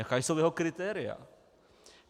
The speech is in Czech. Jaká jsou jeho kritéria?